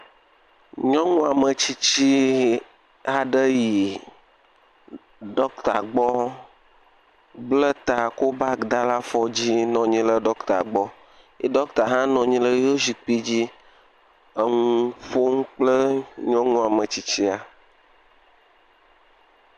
Nyɔnu ametsitsi aɖe yi dɔkita gbɔ bla ta kɔ bagi ɖe afɔdzi nɔ anyi ɖe dɔkita gbɔ. Dɔkita la hã nɔ anyi ɖe eƒe zikpui dzi eye wòle nu ƒom kple nyɔnu sia.